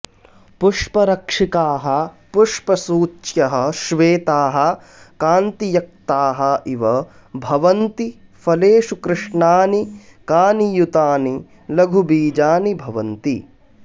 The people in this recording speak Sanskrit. पुष्परक्षिकाः पुष्पसूच्यः श्वेताः कान्तियक्ताः इव भवन्ति फलेषु कृष्णानि कानियुतानि लघु वीजानि भवन्ति